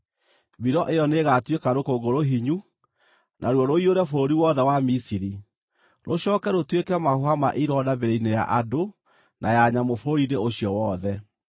Mbiro ĩyo nĩĩgatuĩka rũkũngũ rũhinyu, naruo rũiyũre bũrũri wothe wa Misiri, rũcooke rũtuĩke mahũha ma ironda mĩĩrĩ-inĩ ya andũ na ya nyamũ bũrũri-inĩ ũcio wothe.”